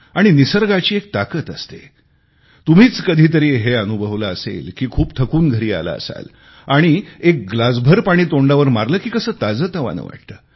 आणि निसर्गाची एक ताकद असते तुम्हीच कधीतरी हे अनुभवले असेल की खूप थकून घरी आला असाल आणि एक ग्लासभर पाणी तोंडावर मारले की कसे ताजेतवाने वाटते